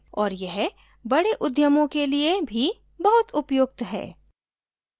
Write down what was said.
और यह बड़े उद्यमों के लिए भी बहुत उपयुक्त है